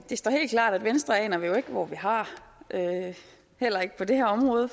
det står helt klart at venstre aner vi jo ikke hvor vi har heller ikke på det her område